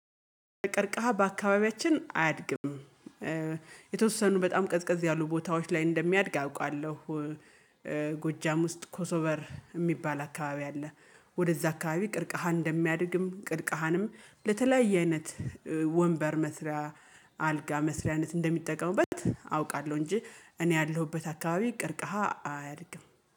ቀርቀሃ በአካባቢያችን አያድግም። የተወሰኑ በጣም ቀዝቀዝ ያሉ ቦታዎች ላይ እንደሚያድግ አውቃለሁ። ጎጃም ውስጥ ኮሶበር የሚባል አካባቢ አለ። ወደዛ አካባቢ ቀርከሃን እንደሚያድግም ቀርከሃንም ለተለያየ አይነት ወንበር መስሪያ አልጋ መስሪያነት እንደሚጠቀሙበት አውቃለሁ። እንጂ እኔ ያለሁበት አካባቢ ቀርከሃ አያድግም